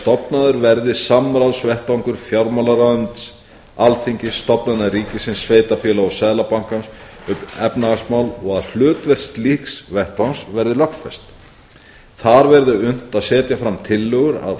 stofnaður verði samráðsvettvangur fjármálaráðuneytis alþingis stofnana ríkisins sveitarfélaga og seðlabankans um efnahagsmál og að hlutverk slíks vettvangs verði lögfest þar verði unnt að setja fram tillögur að